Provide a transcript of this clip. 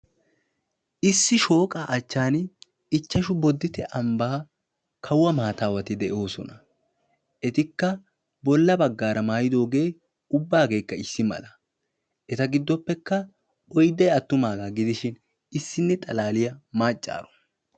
issi shooqa achcan ichashshu boditte ambban koone akkaleti de'oosona, etikka bolla baggaara ubbay maayidooge issi mala, eta giddoppe oydday attumaaaga gidishin issiniya maccaaro.